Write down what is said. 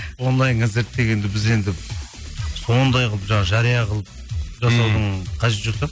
онлайн концерт дегенді біз енді сондай қылып жаңа жария қылып жасаудың қажеті жоқ сияқты